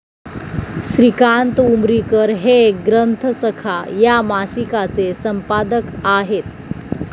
श्रीकांत उमरीकर हे 'ग्रंथसखा' या मासिकाचे संपादक आहेत.